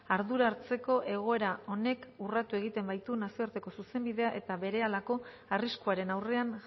ardura hartzeko egoera honek urratu egiten baitu nazioarteko zuzenbidea eta berehalako arriskuaren aurrean